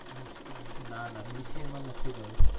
ના ના bca માં નથી જવું